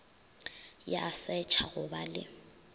ya setšha go ba le